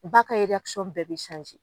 Ba ka bɛɛ bi